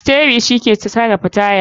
Steri shike sarafa taya.